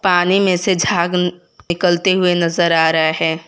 पानी में से झाग निकलते हुए नजर आ रहा है।